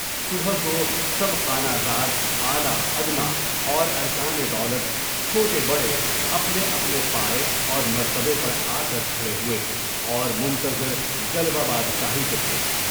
صبح کو سب خانہ زاد، اعلیٰ وادنیٰ، اور ارکان دولت، چھوٹے بڑے، اپنے اپنے پائے اور مرتبے پر آکر کھڑے ہوئے، اور منتظر جلوہ بادشاہی کے تھے۔